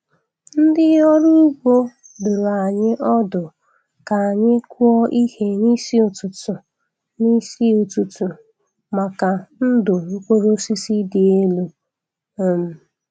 Ndị ọrụ ugbo dụrụ anyị ọdụ ka anyị kụọ ihe n'isi ụtụtụ n'isi ụtụtụ maka ndụ mkpụrụ osisi dị elu. um